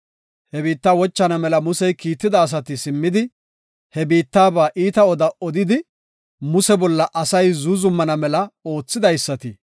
He biitta wochana mela Musey kiitida asati simmidi, he biittaba iita oda odidi, Muse bolla asay zuuzumana mela oothidaysati,